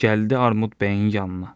Gəldi Armud bəyin yanına.